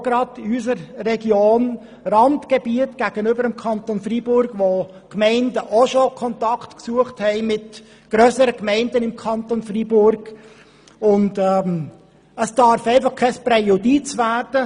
Und gerade auch in unserer Region, ebenfalls einem Randgebiet gegenüber dem Kanton Freiburg, haben schon Gemeinden Kontakt mit grösseren Gemeinden im Kanton Freiburg gesucht.